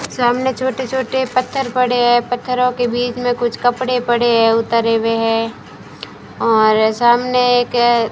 सामने छोटे छोटे पत्थर पड़े है पत्थरों के बीच में कुछ कपड़े पड़े है उतारे हुए है और सामने एक --